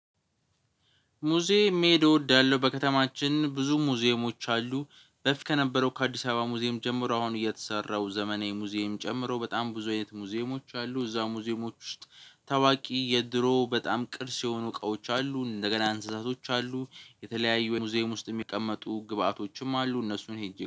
ሙዚየም መሄድ እወዳለው በከተማችን ብዙ ሙዚየሞች አሉ። በፊት ከነበረው ከአዲስ አበባ ሙዚየም ጀምሮ አሁን እየተሰራው ዘመናዊ ሙዚየም ጨምሮ በጣም ብዙ አይነት ሙዚየሞች አሉ። እዛ ሙዚየሞች ውስጥ ታዋቂ የድሮ በጣም ቅርስ የሆኑ እቃዎች አሉ እንደገና እንስሳቶች አሉ። የተለያዩ የሙዚየም ውስጥ የሚቀመጡ ግብአቶችም አሉ እነሱን ሄጄ